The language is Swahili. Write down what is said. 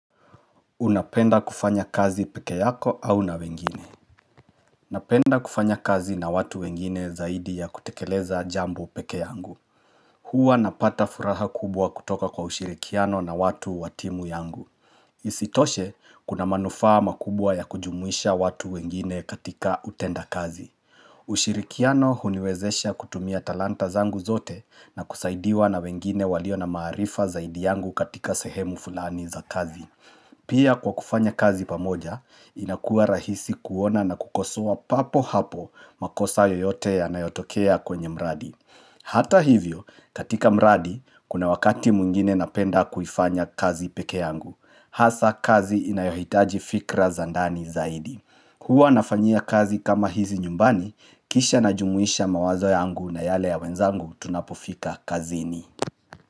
Unapenda kufanya kazi peke yako au na wengine. Napenda kufanya kazi na watu wengine zaidi ya kutekeleza jambo peke yangu. Hua napata furaha kubwa kutoka kwa ushirikiano na watu wa timu yangu. Isitoshe kuna manufaa makubwa ya kujumuisha watu wengine katika utenda kazi. Ushirikiano huniwezesha kutumia talanta zangu zote na kusaidiwa na wengine walio na maarifa zaidi yangu katika sehemu fulani za kazi. Pia kwa kufanya kazi pamoja, inakuwa rahisi kuona na kukosoa papo hapo makosa yoyote yanayotokea kwenye mradi. Hata hivyo, katika mradi, kuna wakati mwingine napenda kuifanya kazi peke yangu. Hasa, kazi inayohitaji fikra za ndani zaidi. Huwa nafanyia kazi kama hizi nyumbani, kisha najumuisha mawazo yangu na yale ya wenzangu tunapofika kazini.